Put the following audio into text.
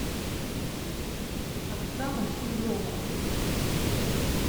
оксана сизова